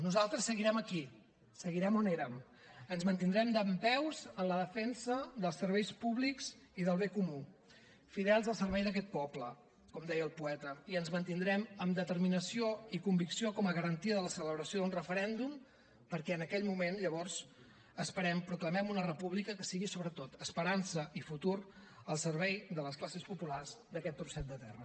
nosaltres seguirem aquí seguirem on érem ens mantindrem dempeus en la defensa dels serveis públics i del bé comú fidels al servei d’aquest poble com deia el poeta i ens mantindrem amb determinació i convicció com a garantia de la celebració d’un referèndum perquè en aquell moment llavors ho esperem proclamem una república que sigui sobretot esperança i futur al servei de les classes populars d’aquest trosset de terra